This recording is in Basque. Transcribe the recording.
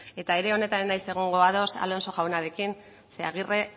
eta ere honetan ez naiz egongo ados alonso jaunarekin zeren agirre